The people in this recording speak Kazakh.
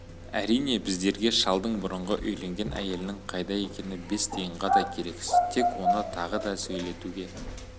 әрине біздерге шалдың бұрынғы үйленген әйелінің қайда екені бес тиынға да керексіз тек оны тағы да сөйлетуге